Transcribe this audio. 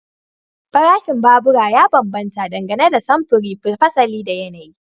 Farashin babura ya bambanta dangane da samfuri, fasali da yanayi.